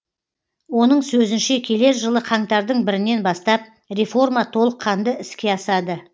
оның сөзінше келер жылы қаңтардың бірінен бастап реформа толыққанды іске асады